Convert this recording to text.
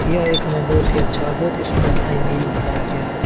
यह एक हमें बहुत ही अच्छा और बहुत ही सुंदर सा इमेज दिखाया गया है।